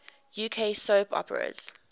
uk soap operas